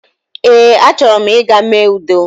Ee a chọrọ m ịga mee udo